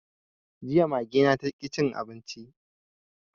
Jiya Mage na taƙi cin abinci